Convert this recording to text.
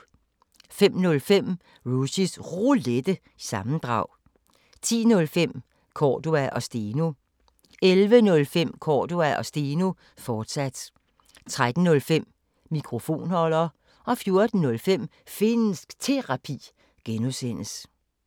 05:05: Rushys Roulette – sammendrag 10:05: Cordua & Steno 11:05: Cordua & Steno, fortsat 13:05: Mikrofonholder 14:05: Finnsk Terapi (G)